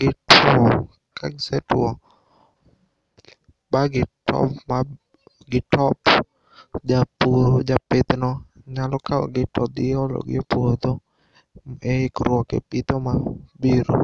gitwo. Ka gisetwo ma gitop japur, japithno nyalo kawogi to dhi ologi e puodho e ikruok e pitho ma biro.